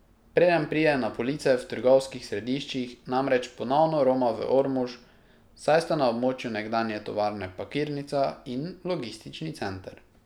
Preden pride na police v trgovskih središčih, namreč ponovno roma v Ormož, saj sta na območju nekdanje tovarne pakirnica in logistični center.